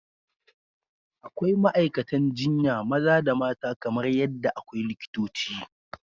Akwai ma’aikatan jinya maza da mata kamar yadda akwai likitoci.